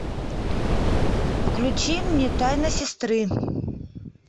включи мне тайна сестры